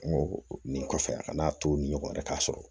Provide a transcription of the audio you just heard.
N go nin kɔfɛ a kana to ni ɲɔgɔn yɛrɛ ye k'a sɔrɔ